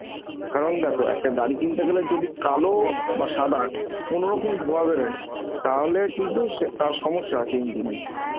কারণ দেখো একটা গাড়ি কিনতে গেলে যদি কালো বা সাদা কোনরকম ধোয়া বেড়ে তাহলে কিন্তু সে~ তার সমস্যা আছে engine এ